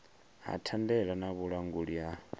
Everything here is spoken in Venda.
ha thandela na vhulanguli ha